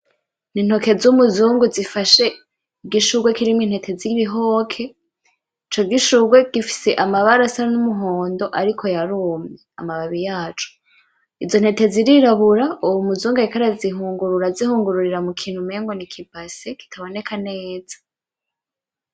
Ni intoke z'umuzungu zifashe igishurwe kirimwo intete z'ibihoke, ico gishurwe gifise amabara asa n'umuhondo ariko yarumye amababi yaco, izo ntete zirirabura uwo muzungu ariko arazihungurura azihungururira mukintu mengo ni ikibase kitaboneka neza.